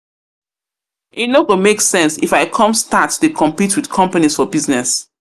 E no go make sense if i come start dey compete with companies for business.